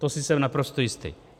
To jsem si naprosto jistý.